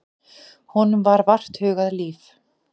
Honum var vart hugað líf.